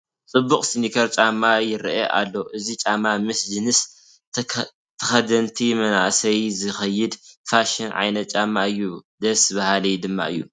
ፅቡቕ ስኒከር ጫማ ይርአ ኣሎ፡፡ እዚ ጫማ ምስ ጅንስ ተኸደንቲ መናእሰይ ዝኸይድ ፋሽን ዓይነት ጫማ እዩ፡፡ ደስ በሃሊ ድማ እዩ፡፡